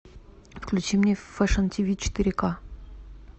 включи мне фэшн тв четыре к